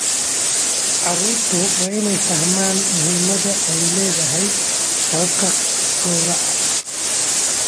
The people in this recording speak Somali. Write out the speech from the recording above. Carruurtu waa inay fahmaan muhimadda ay leedahay hababka gawraca.